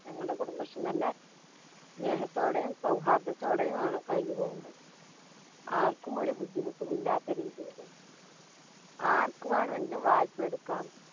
ഞങ്ങളുടെ കുടുംബശ്രീ നല്ല സ്നേഹത്തോടെയും സൗഹാർദത്തോടെയുമാണ് കഴിഞ്ഞുപോകുന്നത്. ആർക്കും ഒരു ബുദ്ധിമുട്ടില്ലാത്ത രീതിയില്. ആർക്കുവേണമെങ്കിലും വായ്പ എടുക്കാം.